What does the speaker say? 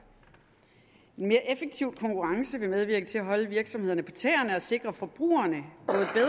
en mere effektiv konkurrence vil medvirke til at holde virksomhederne på tæerne og sikre forbrugerne